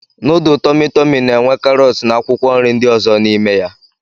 Nudul Tọmi Tọmi na-enwe karọt na akwụkwọ nri ndị ọzọ n'ime ya.